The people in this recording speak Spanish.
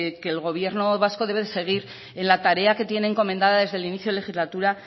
que el gobierno vasco debe de seguir en la tarea que tiene encomendada desde el inicio de legislatura